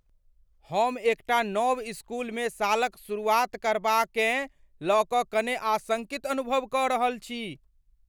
हम एकटा नव इसकुलमे सालक शुरुआत करबाकेँ लय कऽ कने आशङ्कित अनुभव कऽ रहल छी।